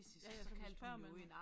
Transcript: Ja ja så kan spørger man